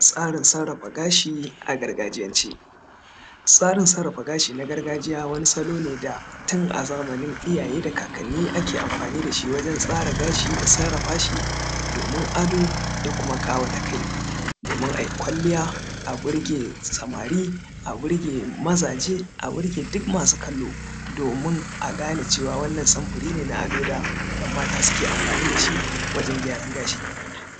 tsarin sarrafa gashi a gargajiyance tsarin sarrafa gashi na gargajiya wani salo ne tun a zamanin iyaye da kakanni ake amfani dashi wajen tsara gashi da sarrafa shi domin ado da kuma ƙawata kai domin ayi kwalliya a burge samari a burge mazaje a burge duk masu kallo aje a burge duk masu kallo domin a gane cewa wannan samfuri ne na ado wanda ‘yan mata suke amfani dashi wajen gyaran gashi